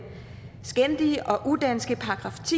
skændige og udanske §